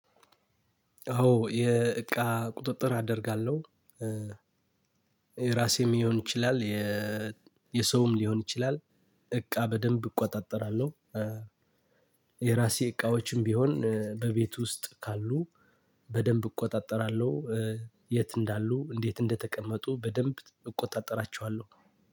አዎ የእቃ ቁጥጥር አደርጋለሁ የራሴም ሊሆን ይችላል የ የሰውም ሊሆን ይችላል እቃ በደንብ እቆጣጠራለሁ። የራሴ እቃዎችም ቢሆን በቤት ውስጥ ካሉ በደንብ እቆጣጠራለሁ። የት እንዳሉ እንዴት እንደተቀመጡ በደንብ እቆጣጠራቸዋለሁ